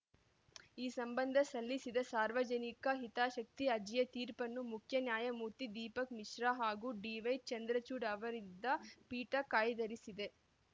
ಈ ಸಂಬಂಧ ಸಲ್ಲಿಸಿದ್ದ ಸಾರ್ವಜನಿಕ ಹಿತಾಶಕ್ತಿ ಅರ್ಜಿಯ ತೀರ್ಪನ್ನು ಮುಖ್ಯ ನ್ಯಾಯಮೂರ್ತಿ ದೀಪಕ್‌ ಮಿಶ್ರಾ ಹಾಗೂ ಡಿವೈ ಚಂದ್ರಚೂಡ್‌ ಅವರಿದ್ದ ಪೀಠ ಕಾಯ್ದಿರಿಸಿದೆ